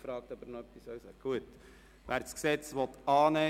Schlussabstimmung (1. und einzige Lesung)